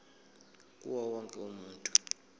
kuwo wonke umuntu